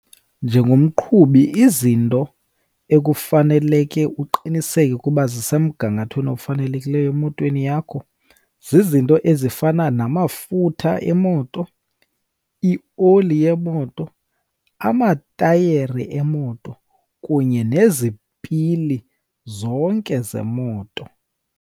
Njengomqhubi izinto ekufaneleke uqiniseke ukuba zisemgangathweni ofanelekileyo emotweni yakho, zizinto ezifana namafutha emoto, ioli yemoto, amatayeri emoto kunye nezipili zonke zemoto.